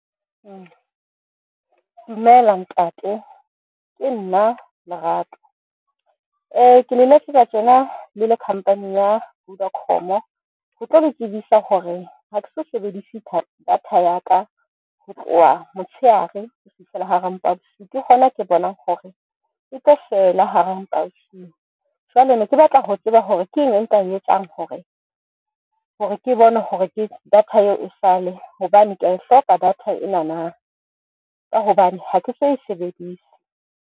Dumela ntate, ke nna Lerato ke le letsetsa tjena le le company ya Vodacom-o ho tlo le tsebisa hore ha ke so sebedise data ya ka ho tloha motshehare ho fihlela hara mpa ya bosiu. Ke hona ke bonang hore ke e tlo fela hara mpa ya bosiu. Jwale ne ke batla ho tseba hore keng e nka e etsang hore, hore ke bone hore ke data eo e sale hobane ke a e hloka data e na na, ka hobane ha ke so e sebedise.